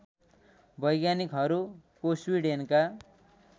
वैज्ञानिकहरू कोस्वीडेनका